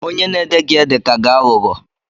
Onye na-ede gị ede ka gị aghụghọ